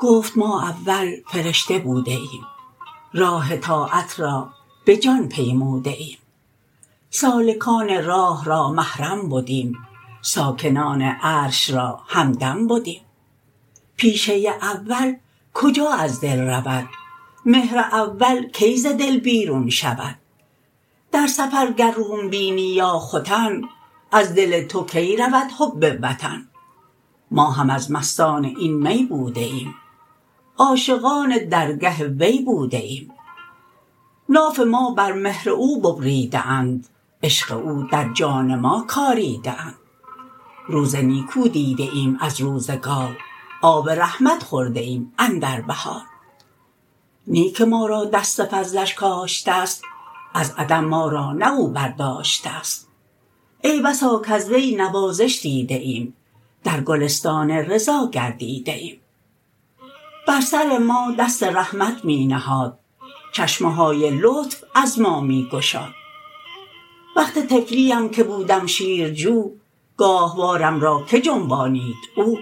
گفت ما اول فرشته بوده ایم راه طاعت را بجان پیموده ایم سالکان راه را محرم بدیم ساکنان عرش را همدم بدیم پیشه اول کجا از دل رود مهر اول کی ز دل بیرون شود در سفر گر روم بینی یا ختن از دل تو کی رود حب الوطن ما هم از مستان این می بوده ایم عاشقان درگه وی بوده ایم ناف ما بر مهر او ببریده اند عشق او در جان ما کاریده اند روز نیکو دیده ایم از روزگار آب رحمت خورده ایم اندر بهار نی که ما را دست فضلش کاشتست از عدم ما را نه او بر داشتست ای بسا کز وی نوازش دیده ایم در گلستان رضا گردیده ایم بر سر ما دست رحمت می نهاد چشمه های لطف از ما می گشاد وقت طفلی ام که بودم شیرجو گاهوارم را کی جنبانید او